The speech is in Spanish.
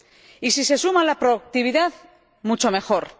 Y, si se suma la proactividad, mucho mejor.